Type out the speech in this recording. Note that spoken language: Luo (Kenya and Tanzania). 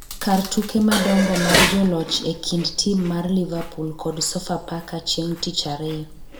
kar tuke madongo mag joloch e kind tim mar Liverpool kod Sofapaka chieng' tich ariyo